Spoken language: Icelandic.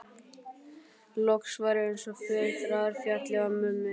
Loks var eins og fjötrar féllu af mömmu.